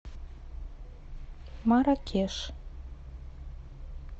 маракеш